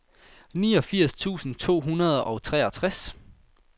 niogfirs tusind to hundrede og treogtres